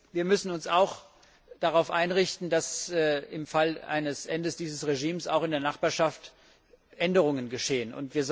Wir müssen uns auch darauf einrichten, dass im Fall eines Endes dieses Regimes auch in der Nachbarschaft Änderungen geschehen.